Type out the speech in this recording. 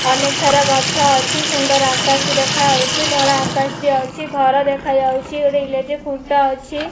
ଅନେକ ସାରା ଗଛ ଅଛି ସୁନ୍ଦର ଆକାଶ ଦେଖାଯାଉଚି ଧଳା ଆକାଶ ଟିଏ ଅଛି ଘର ଦେଖା ଯାଉଛି ଗୋଟେ ଇଲେକ୍ଟ୍ରି ଖୁଣ୍ଟ ଅଛି।